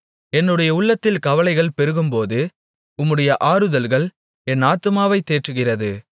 என்னுடைய உள்ளத்தில் கவலைகள் பெருகும்போது உம்முடைய ஆறுதல்கள் என் ஆத்துமாவைத் தேற்றுகிறது